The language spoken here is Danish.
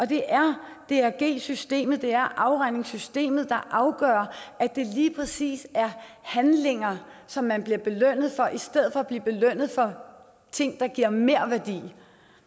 det er drg systemet afregningssystemet der afgør at det lige præcis er handlinger som man bliver belønnet for i stedet for at man bliver belønnet for ting der giver merværdi